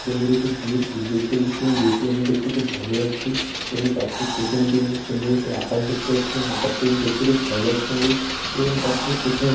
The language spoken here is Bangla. সুন্দর একটি বিয়ের গেট দেখতে পাচ্ছি এবং গেট -টি অআমার দেখতে খুব ভালো লাগছে | তার ঠিক পিছনের দিকে সুন্দর একটু আকাশ দেখতে পাচ্ছি | এবং আকাশটা দেখতে খুব ভাল লাগছে আমাদের| এবং তার ঠিক পিছনে-- |